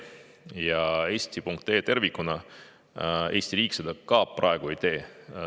Eesti riik ka eesti.ee seda praegu ei tee.